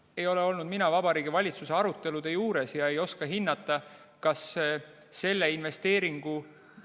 Mina ei ole olnud Vabariigi Valitsuse arutelude juures ja ei oska hinnata selle investeeringu mõjusid.